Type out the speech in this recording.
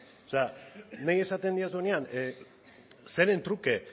o sea nahi esaten didazunean zeren truke